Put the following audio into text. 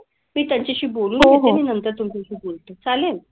मी त्यांच्याशी बोलून घेते आणि नंतर तुमच्याशी बोलते. चालेल?